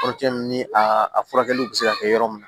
Kɔrɔcɛn ni a a furakɛli bɛ se ka kɛ yɔrɔ min na